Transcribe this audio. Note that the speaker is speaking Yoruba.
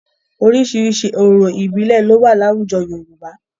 Oríṣiríṣi orò ìbílẹ̀ ló wà láwùjọ Yorùbá.